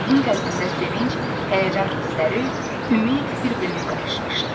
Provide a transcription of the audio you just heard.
Onun qəlbində sevinc, həyəcan hissləri, ümid bir-birinə qarışmışdı.